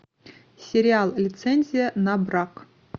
сериал лицензия на брак